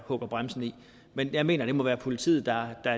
hugger bremsen i men jeg mener at det må være politiet der